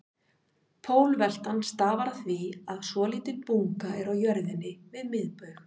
Pólveltan stafar af því að svolítil bunga er á jörðinni við miðbaug.